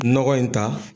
Nɔgɔ in ta